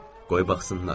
Qoy baxsınlar.